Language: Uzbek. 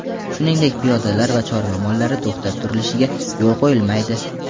shuningdek piyodalar va chorva mollari to‘xtab turilishiga yo‘l qo‘yilmaydi.